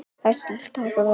Ársæll, viltu hoppa með mér?